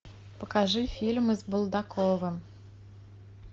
покажи фильмы с булдаковым